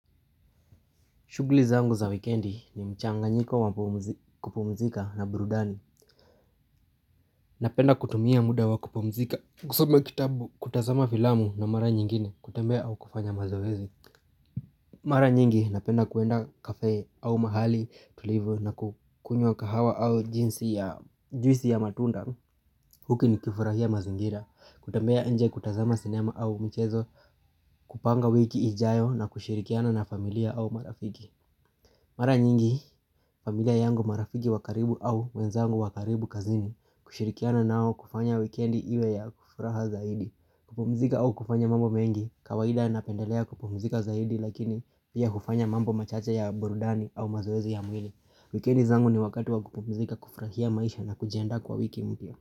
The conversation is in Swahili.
Shughuli zangu za wikendi ni mchanganyiko wa kupumzika na burudani. Napenda kutumia muda wa kupumzika, kusoma kitabu, kutazama filamu na mara nyingine, kutembea au kufanya mazoezi. Mara nyingi napenda kuenda kafe au mahali, tulivu na kukunywa kahawa au jinsi ya juisi ya matunda. Huku nikifurahia mazingira, kutembea nje, kutazama sinema au michezo, kupanga wiki ijayo na kushirikiana na familia au marafiki. Mara nyingi, familia yangu, marafiki wa karibu au wenzangu wa karibu kazini kushirikiana nao kufanya wikendi iwe ya furaha zaidi. Kupumzika au kufanya mambo mengi kawaida napendelea kupumzika zaidi lakini pia hufanya mambo machache ya burudani au mazoezi ya mwili. Wikendi zangu ni wakati wa kupumzika, kufurahia maisha na kujiandaa kwa wiki mpya.